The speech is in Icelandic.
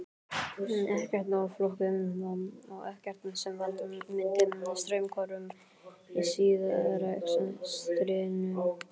Ekkert of flókið, ekkert sem valda myndi straumhvörfum í stríðsrekstrinum.